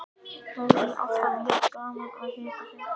Það er alltaf jafn gaman að hitta þig.